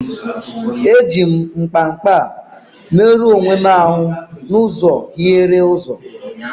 Eji m mkpa mkpa merụọ onwe m ahụ n'ụzọ hiere ụzọ.